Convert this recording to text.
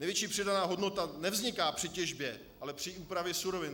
Nejvyšší přidaná hodnota nevzniká při těžbě, ale při úpravě surovin.